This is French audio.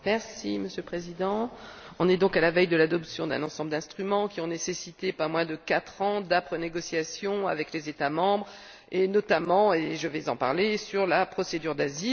Monsieur le Président, nous sommes donc à la veille de l'adoption d'un ensemble d'instruments qui a nécessité pas moins de quatre ans d'âpres négociations avec les États membres et notamment je vais en parler sur la procédure d'asile.